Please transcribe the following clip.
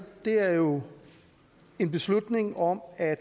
er jo en beslutning om at